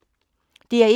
DR1